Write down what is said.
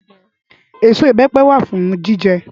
Ésó ibèpè wá fún jijè